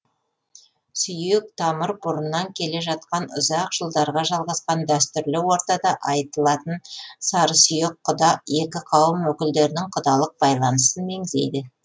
сүйек тамыр бұрыннан келе жатқан ұзақ жылдарға жалғасқан дәстүрлі ортада айтылатын сарысүйек құда екі қауым өкілдерінің құдалық байланысын меңзейді